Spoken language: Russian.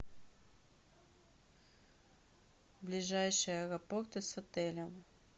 ближайшие аэропорты с отелем